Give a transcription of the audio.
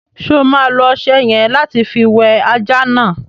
Ṣo ma lo ọṣẹ yẹ̀n lati fi wẹ ajá náà?